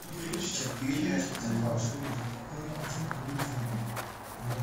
четыре льва